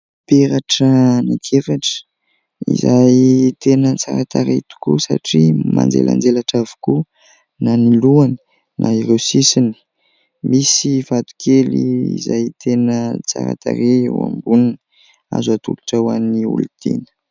Peratra ananki efatra izay tena tsara tarehy tokoa satria manjelanjelatra avokoa na ny lohany na ireo sisiny. Misy vatokely izay tena tsara tarehy eo amboniny, azo atolotra ho an'ny olontiana.